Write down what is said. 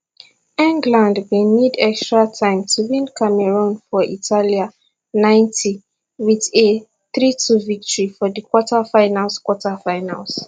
england bin need extra time to win cameroon for italia ninety wit a thirty two victory for di quarterfinals quarterfinals